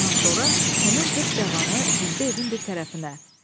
Ondan sonra həmin qırx cavanı düzdü evin bir tərəfinə.